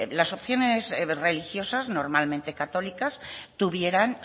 las opciones religiosas normalmente católicas tuvieran